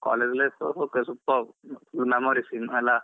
College life college life superb memories ಇನ್ನು ಅಲ್ಲಾ.